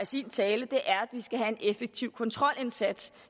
sin tale er at vi skal have en effektiv kontrolindsats